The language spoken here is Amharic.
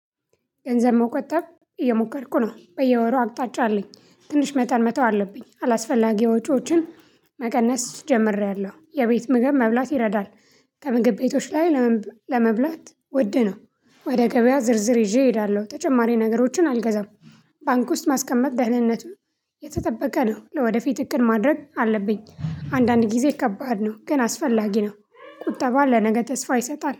ገንዘብ መቆጠብ እየሞከርኩ ነው በየወሩ አቅጣጫ አለኝ ትንሽ መጠን መተው አለብኝ አላስፈላጊ ወጪዎችን መቀነስ ጀምሬያለሁ የቤት ምግብ መብላት ይረዳል። ከምግብ ቤቶች ላይ ለመብላት ውድ ነው። ወደ ገበያ ዝርዝር ይዤ እሄዳለሁ ተጨማሪ ነገሮችን አልገዛም። ባንክ ውስጥ ማስቀመጥ ደህንነት የተጠበቀ ነው። ለወደፊት እቅድ ማድረግ አለብኝ አንዳንድ ጊዜ ከባድ ነው ግን አስፈላጊ ነው። ቁጠባ ለነገ ተስፋ ይሰጣል